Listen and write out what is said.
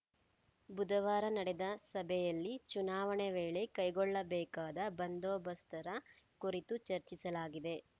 ಬುಧವಾರ ನಡೆದ ಸಭೆಯಲ್ಲಿ ಚುನಾವಣೆ ವೇಳೆ ಕೈಗೊಳ್ಳಬೇಕಾದ ಬಂದೋಬಸ್ತರ ಕುರಿತು ಚರ್ಚಿಸಲಾಗಿದೆ